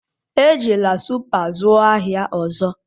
Ejila Supa zụọ ahịa ọzọ!